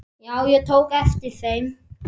Já, ég tók eftir þeim.